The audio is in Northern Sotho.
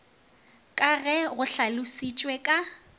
ka ge go hlalošitšwe ka